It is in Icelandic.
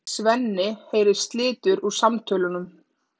Svenni heyrir slitur úr samtölunum.